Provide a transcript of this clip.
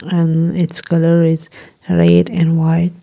And its colour is red and white.